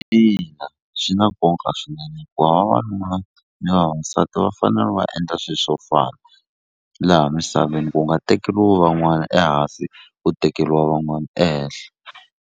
Ina swi na nkoka swinene hikuva vavanuna ni vavasati va fanele va endla swilo swo fana laha misaveni ku nga tekeriwi van'wana ehansi ku tekeriwa van'wana ehenhla.